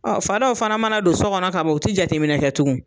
Ɔ fa dɔw fana mana don so kɔnɔ ka ban u tɛ jateminɛ kɛ tugun.